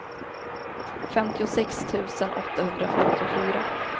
femtiosex tusen åttahundrafemtiofyra